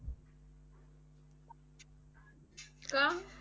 का?